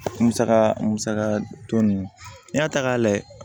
Musaka mu musaka tɔ nunnu n'i y'a ta k'a lajɛ